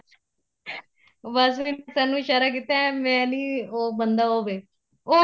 ਬੱਸ ਫੇਰ sir ਨੂੰ ਇਸ਼ਾਰਾ ਕੀਤਾ ਮੈਂ ਨੀਂ ਉਹ ਬੰਦਾ ਉਹ ਵੇ ਉਹ